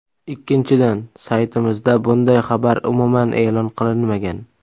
Ikkinchidan, saytimizda bunday xabar umuman e’lon qilinmagan.